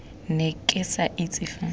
ne ke sa itse fa